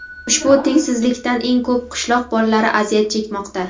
ushbu tengsizlikdan eng ko‘p qishloq bolalari aziyat chekmoqda.